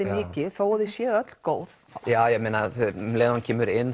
mikið þó að þau séu öll góð um leið og hann kemur inn